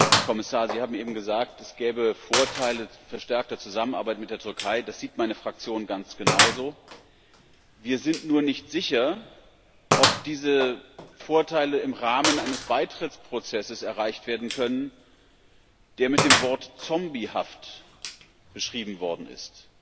Herr Kommissar, Sie haben eben gesagt, es gäbe Vorteile verstärkter Zusammenarbeit mit der Türkei. Das sieht meine Fraktion ganz genauso. Wir sind nur nicht sicher, ob diese Vorteile im Rahmen eines Beitrittsprozesses erreicht werden können, der mit dem Wort zombiehaft beschrieben worden ist.